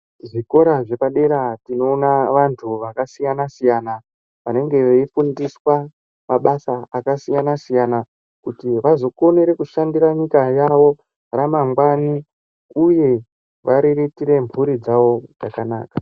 Zvikora zvepadera tinoona vantu vakasiyana siyana vanenge veifundiswa basa rakasiyana siyana kuti vazokone nyika yawo ramangwani uye kuriritira mburi dzawo zvakanaka.